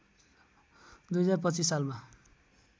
२०२५ सालमा